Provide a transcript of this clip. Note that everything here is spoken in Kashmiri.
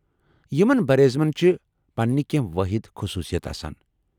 یمن برِ اعظمن چھِ پنٕنہِ كینہہ وٲحد خصوٗصیت آسان۔